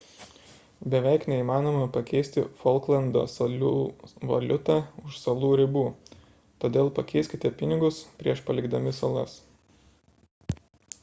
beveik neįmanoma pakeisti folklando salų valiutą už salų ribų todėl pakeiskite pinigus prieš palikdami salas